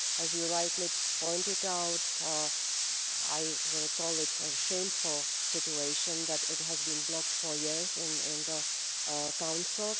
As you rightly pointed out, I will call it a shameful situation that it has been blocked for years in the Council.